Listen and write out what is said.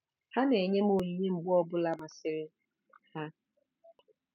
Ha na-enye m onyinye mgbe ọ bụla masịrị ha.